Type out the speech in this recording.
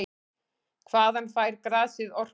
Hvaðan fær grasið orkuna?